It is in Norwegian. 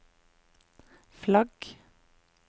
flagg